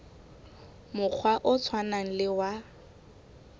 mokgwa o tshwanang le wa